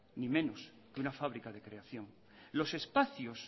ni menos que una fábrica de creación los espacios